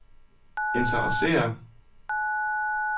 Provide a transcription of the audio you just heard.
interesserer